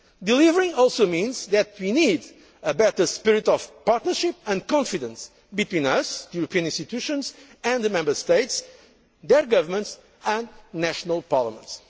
deliver. Delivering also means that we need a better spirit of partnership and confidence between us the European institutions and the Member States, their governments and national parliaments.